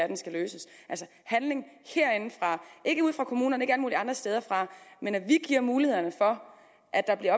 den skal løses altså handling herindefra ikke ude fra kommunerne ikke alle mulige andre steder fra men vi give mulighederne for at der bliver